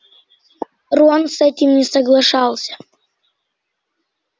рон с этим не соглашался